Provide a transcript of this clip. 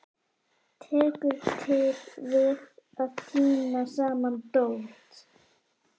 Tekur til við að tína saman dót.